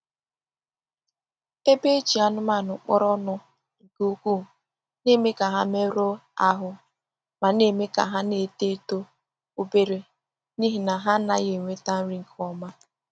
Ebe e ji anụmanụ kpọrọ ọnụ nke ukwuu na-eme ka ha merụọ ahụ ma na-eme ka ha na-eto eto obere n’ihi na ha anaghị enweta nri nke ọma.